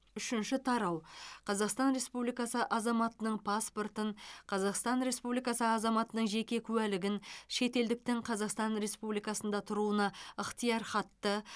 үшінші тарау қазақстан республикасы азаматының паспортын қазақстан республикасы азаматының жеке куәлігін шетелдіктің қазақстан республикасында тұруына ықтиярхатты